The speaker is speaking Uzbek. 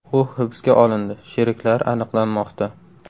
U hibsga olindi, sheriklari aniqlanmoqda”.